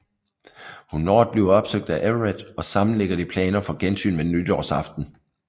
Hun når at blive opsøgt af Everett og sammen ligger de planer for gensyn ved nytårsaften